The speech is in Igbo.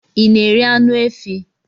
ị na-eri anụ efi